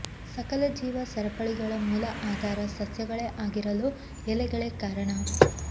ಸಕಲ ಜೀವ ಸರಪಳಿಗಳ ಮೂಲ ಆಧಾರ ಸಸ್ಯಗಳೇ ಆಗಿರಲೂ ಎಲೆಗಳೇ ಕಾರಣ